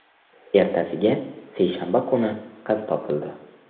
Ertasiga, seshanba kuni qiz topildi.